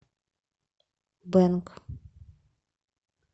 бэнг